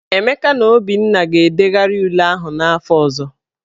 Emeka na Obinna ga-edegharị ule ahụ n'afọ ọzọ.